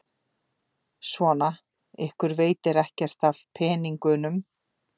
Svona, ykkur veitir ekkert af peningunum.